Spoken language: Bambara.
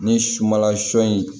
Ni sumala sɔ in